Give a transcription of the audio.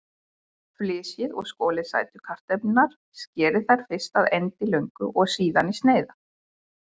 Flysjið og skolið sætu kartöflurnar, skerið þær fyrst að endilöngu og síðan í sneiðar.